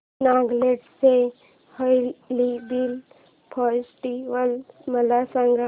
नागालँड चा hornbill festival मला सांग